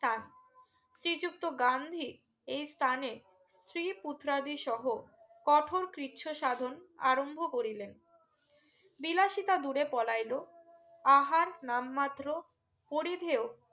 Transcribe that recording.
শ্রী যুক্ত গান্ধী এই স্থানে স্ত্রী পুত্রা দী সহ কঠোর কৃচ্ছ সাধন আরম্ভ করিলেন বিলাসিতা দূরে পৌলাইলও আহার নাম মাত্র পরিধেও